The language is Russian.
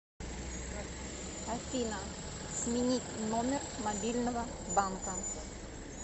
афина сменить номер мобильного банка